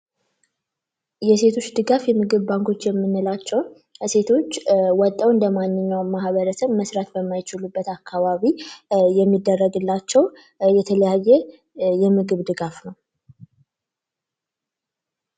የሴቶች ድጋፍ የምግብ ባንኮች የምንላቸው ሴቶች እንደማንኛውም ሰው ወጠው መስራት በማይችሉበት አካባቢ የሚደረግላቸው የተለያየ የምግብ ድጋፍ ነው።